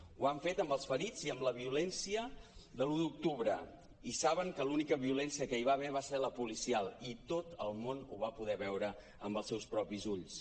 ho han fet amb els ferits i amb la violència de l’un d’octubre i saben que l’única violència que hi va haver va ser la policial i tot el món ho va poder veure amb els seus propis ulls